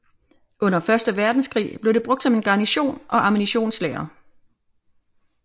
Under første verdenskrig blev det brugt som en garnison og ammunitionslager